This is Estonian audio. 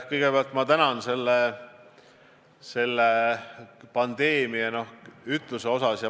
Kõigepealt ma tänan teid selle pandeemia ütluse eest.